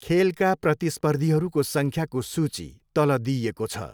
खेलका प्रतिस्पर्धीहरूको सङ्ख्याको सूची तल दिइएको छ।